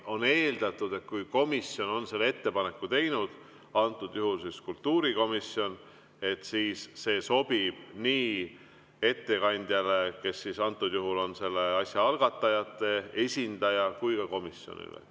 On eeldatud, et kui komisjon on ettepaneku teinud, antud juhul kultuurikomisjon, siis see sobib nii ettekandjale, kelleks antud juhul on algatajate esindaja, kui ka komisjonile.